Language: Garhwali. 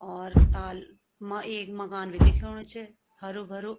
और ताल मा एक मकान भी दिख्योणु च हरु-भरू।